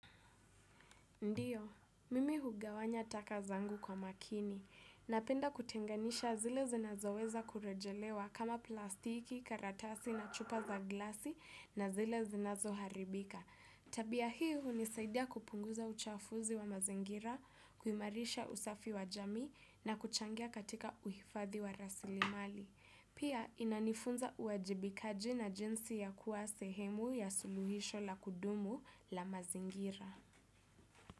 Ndiyo, mimi hugawanya taka zangu kwa makini. Napenda kutenganisha zile zinazoweza kurejelewa kama plastiki, karatasi na chupa za glasi na zile zinazoharibika. Tabia hiu hunisaidia kupunguza uchafuzi wa mazingira, kuimarisha usafi wa jamii na kuchangia katika uhifadhi wa rasilimali. Pia inanifunza uajibikaji na jinsi ya kuwa sehemu ya suluhisho la kudumu la mazingira.